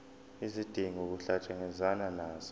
izidingo kuhlangatshezwane nazo